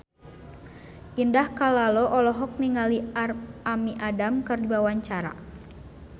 Indah Kalalo olohok ningali Amy Adams keur diwawancara